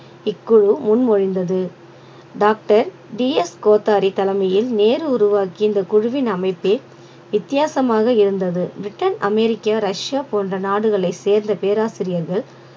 இக்குழு முன்மொழிந்தது doctor D S Kothari தலைமையில் நேரு உருவாக்கிய இந்த குழுவின் அமைப்பே வித்தியாசமாக இருந்தது பிரிட்டன் அமெரிக்கா ரஷ்யா போன்ற நாடுகளை சேர்ந்த பேராசிரியர்கள்